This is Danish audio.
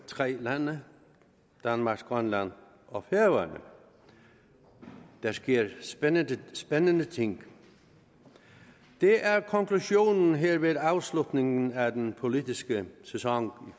tre lande danmark grønland og færøerne der sker spændende ting det er konklusionen her ved afslutningen af den politiske sæson